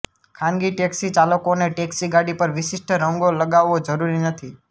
ખાનગી ટેક્સી ચાલકોને ટેક્સી ગાડી પર વિશિષ્ટ રંગો લગાવવો જરૂરી નથી